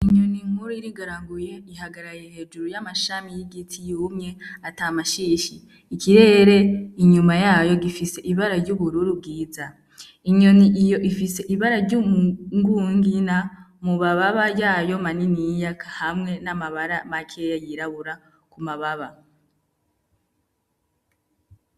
Inyoni nkuru irigaraguye ihagaraye hejuru y'amashami y'igiti y'umye ata mashishi ikirere inyuma yayo gifise ibara ry'ubururu bwiza inyoni iyo ifise ibara ry'ungungina mubababa yayo manini iyiyaka hamwe n'amabara makeya yirabura ku mababa waawagaaa.